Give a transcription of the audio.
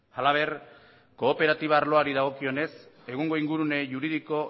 halaber kooperatiba arloari dagokionez egungo ingurune juridiko